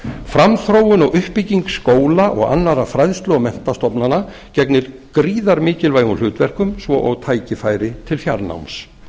framþróun og uppbygging skóla og annarra fræðslu og menntastofnana gegnir gríðarlega mikilvægum hlutverkum svo og tækifæri til fjarnáms